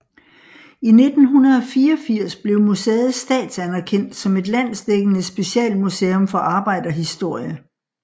I 1984 blev museet statsanerkendt som et landsdækkende specialmuseum for arbejderhistorie